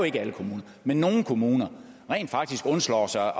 ikke alle kommuner men nogle kommuner rent faktisk undslår sig